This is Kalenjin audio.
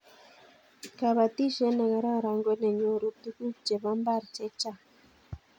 kabatishiet ne kararan ko ne nyorun tuguk chebo mbar chechang